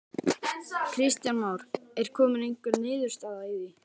Kristján Már: Er komin einhver niðurstaða í því?